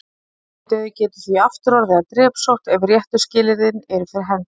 Svartidauði getur því aftur orðið að drepsótt ef réttu skilyrðin eru fyrir hendi.